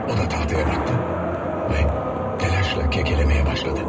O da taxtaya baxdı və təlaşla kəkələməyə başladı.